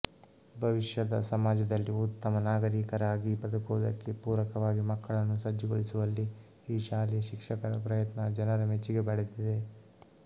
ಭವಿಷ್ಯದ ಸಮಾಜದಲ್ಲಿ ಉತ್ತಮ ನಾಗರೀಕರಾಗಿ ಬದುಕುವುದಕ್ಕೆ ಪೂರಕವಾಗಿ ಮಕ್ಕಳನ್ನು ಸಜ್ಜುಗೊಳಿಸುವಲ್ಲಿ ಈ ಶಾಲೆ ಶಿಕ್ಷಕರ ಪ್ರಯತ್ನ ಜನರ ಮೆಚ್ಚುಗೆ ಪಡೆದಿದೆ